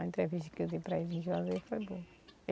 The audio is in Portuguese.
A entrevista que eu dei para em Juazeiro foi boa.